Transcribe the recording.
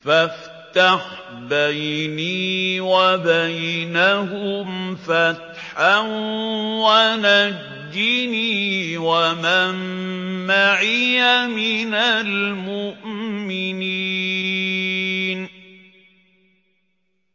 فَافْتَحْ بَيْنِي وَبَيْنَهُمْ فَتْحًا وَنَجِّنِي وَمَن مَّعِيَ مِنَ الْمُؤْمِنِينَ